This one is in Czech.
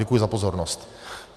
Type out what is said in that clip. Děkuji za pozornost.